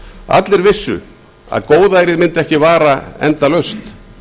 allir vissu að góðærið mundi ekki vara endalaust